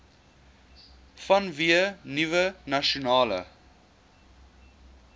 vanweë nuwe nasionale